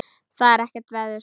Það er ekkert veður.